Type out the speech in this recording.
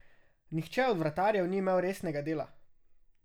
Nihče od vratarjev ni imel resnega dela.